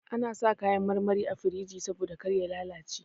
Ana sa kayan marmari a firij saboda kar ya lalace.